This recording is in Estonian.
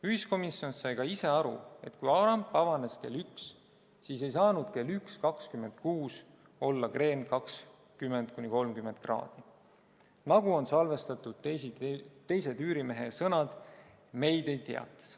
Ühiskomisjon sai ka ise aru, et kui ramp avanes kell üks, siis ei saanud kell 1.26 olla kreen 20–30 kraadi, nagu on salvestatud teise tüürimehe sõnad Mayday-teates.